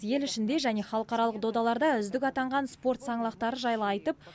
ел ішінде және халықаралық додаларда үздік атанған спорт саңлақтары жайлы айтып